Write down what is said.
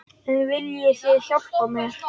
En viljið þið hjálpa mér?